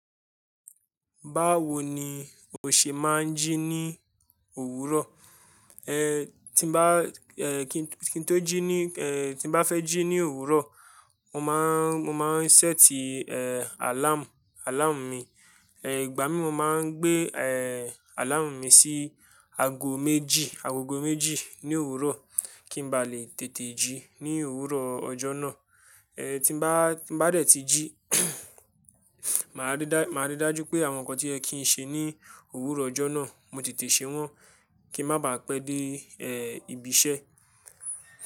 Báwo ni o ṣe máa ń jí ní òwúrọ̀? Tí bá fẹ́ jí ní òwúrọ̀, mo máá ń ṣẹ́ẹ̀tì àláàmu, àláàmù mi. Ìgbà mí, mo máa ń gbé àláàmù mi sí ago méjì, agogo méjì ní òwúrọ̀ kí n ba lè tètè jí ní òwúrọ̀ ọjọ́ náà. Ti bá dẹ̀ tí jí, màá rí dájú pé àwọn nǹkan tí ẹ ki n ṣe ní òwúrọ̀ ọjọ́ náà, mo tètè ṣe wọ́n, kí ń má baà pẹ́ dé ibi iṣẹ́.